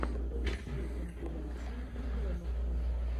поищи компиляции обломоффа